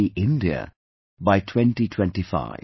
free India by 2025